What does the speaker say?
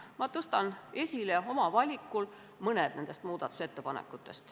Ma tõstan neist ettepanekutest oma valikul mõne esile.